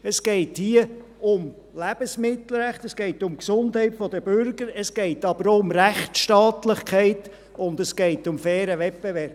Es geht hier um Lebensmittelrecht, es geht um die Gesundheit der Bürger, es geht aber auch um Rechtsstaatlichkeit, und es geht um fairen Wettbewerb.